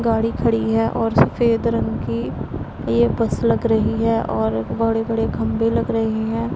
गाड़ी खड़ी है और सफेद रंग की ये बस लग रही है और बड़े-बड़े खंभे लग रहे हैं।